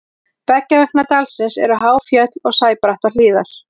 beggja vegna dalsins eru há fjöll og sæbrattar hlíðar